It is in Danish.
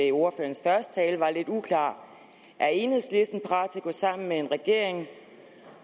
i ordførerens første tale var lidt uklar er enhedslisten parat til at gå sammen med regeringen